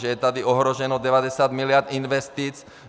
Že je tady ohroženo 90 mld. investic.